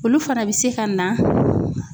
Olu fana bi se ka na